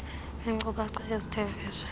ngeenkcukacha ezithe vetshe